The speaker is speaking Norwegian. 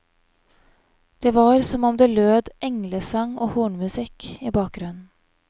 Det var som om det lød englesang og hornmusikk i bakgrunnen.